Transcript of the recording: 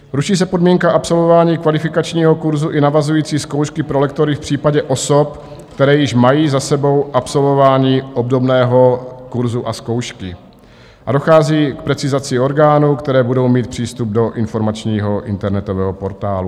Ruší se podmínka absolvování kvalifikačního kurzu i navazující zkoušky pro lektory v případě osob, které již mají za sebou absolvování obdobného kurzu a zkoušky, a dochází k precizaci orgánů, které budou mít přístup do informačního internetového portálu.